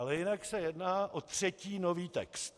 Ale jinak se jedná o třetí nový text.